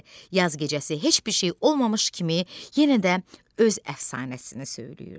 Yaz gecəsi heç bir şey olmamış kimi yenə də öz əfsanəsini söyləyirdi.